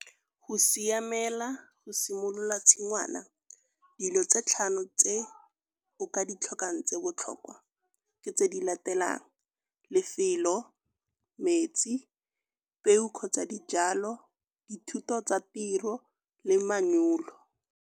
Go siamela go simolola tshingwana dilo tse tlhano tse o ka ditlhokang tse botlhokwa ke tse di latelang lefelo, metsi, peo kgotsa dijalo, dithuto tsa tiro le manyolo.